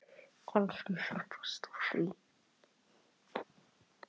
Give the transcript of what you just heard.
Kannski fer best á því.